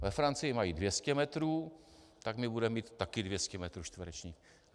Ve Francii mají 200 metrů, tak my budeme mít také 200 metrů čtverečních.